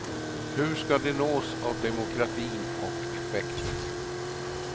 Hur ska de nås av demokratin och effekten?